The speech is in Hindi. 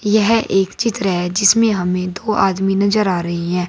यह एक चित्र है जिसमें हमें दो आदमी नजर आ रही है।